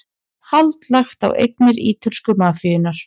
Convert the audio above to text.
Hald lagt á eignir ítölsku mafíunnar